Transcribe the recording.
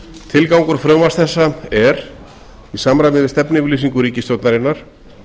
tilgangur frumvarps þessa er í samræmi við stefnuyfirlýsingu ríkisstjórnarinnar